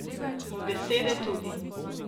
In besede tudi.